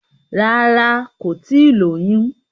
Rárá, kò tíì lóyún.